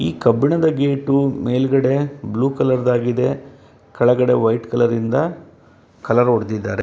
ಈ ಕಬ್ಣದ ಗೇಟು ಮೇಲ್ಗಡೆ ಬ್ಲೂ ಕಲರ್ ದಾಗಿದೆ ಕೆಳಗಡೆ ವೈಟ್ ಕಲರ್ ಇಂದ ಕಲರ್ ಹೊಡ್ದಿದಾರೆ.